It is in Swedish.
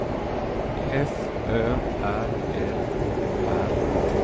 F Ö R L O R A